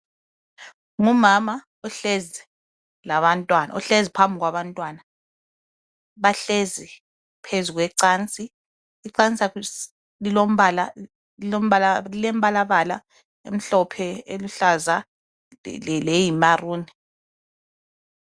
Ngumama ohlezi phambi kwabantwana bahlezi phezu kwecansi icansi lilembalambala emhlophe eluhlaza leyimaroon.